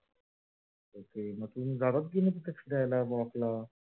जडत बिसात fixed आपला